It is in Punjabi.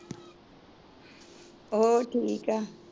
ਹੋਰ ਠੀਕ ਐ